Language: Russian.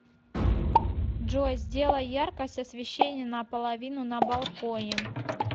джой сделай яркость освещения на половину на балконе